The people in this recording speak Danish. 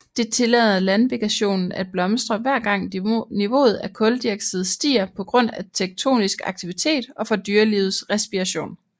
Det tillader landvegetation at blomstre hver gang niveauet af kuldioxid stiger på grund af tektonisk aktivitet og fra dyrelivets respiration